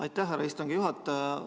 Aitäh, härra istungi juhataja!